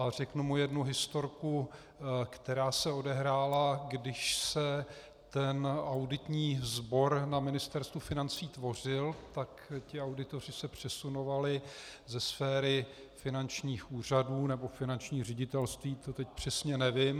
A řeknu mu jednu historku, která se odehrála, když se ten auditní sbor na Ministerstvu financí tvořil, tak ti auditoři se přesunovali ze sféry finančních úřadů nebo finančních ředitelství, to teď přesně nevím.